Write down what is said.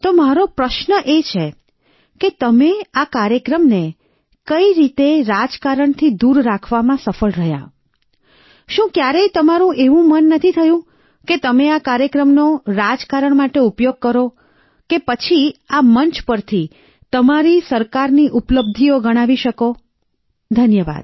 તો મારો પ્રશ્ન એ છે કે તમે આ કાર્યક્રમને કઈ રીતે રાજકારણથી દૂર રાખવામાં સફળ રહ્યાશું ક્યારેય તમારું એવું મન નથી થયું કે તમે આ કાર્યક્રમનો રાજકારણ માટે ઉપયોગ કરો કે પછી આ મંચ પરથી તમારી સરકારની ઉપલબ્ધિઓ ગણાવી શકો ધન્યવાદ